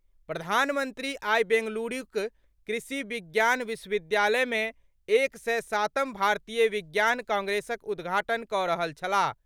प्रधानमंत्री आइ बेंगलुरूक कृषि विज्ञान विश्वविद्यालय मे एक सय सातम भारतीय विज्ञान कांग्रेसक उद्घाटन कऽ रहल छलाह।